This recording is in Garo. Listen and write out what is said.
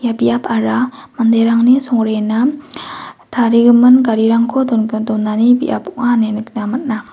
ia biapara manderangni songrena tarigimin garirangko dongah-donani biap ong·a ine nikna man·a.